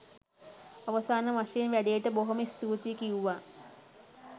අවසාන වශයෙන් වැඩේට බොහොම ස්තුතියි කිව්වා.